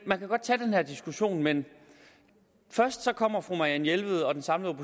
man kan godt tage den diskussion men først kommer fru marianne jelved og den samlede